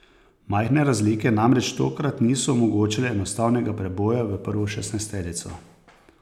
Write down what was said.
Majhne razlike namreč tokrat niso omogočale enostavnega preboja v prvo šestnajsterico.